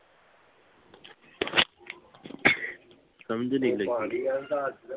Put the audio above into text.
ਸਮਝ ਨਹੀਂ ਲੱਗੀ